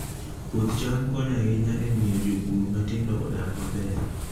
Puoth cham konyo ahinya e miyo jopur matindo odag maber